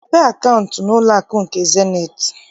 Mepee akaụntụ n'ụlọakụ nke Zenith!